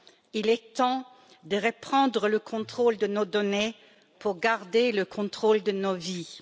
Il est temps de reprendre le contrôle de nos données pour garder le contrôle de nos vies.